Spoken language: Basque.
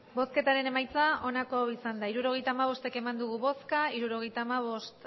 hirurogeita hamabost eman dugu bozka hirurogeita hamabost